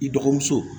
I dɔgɔmuso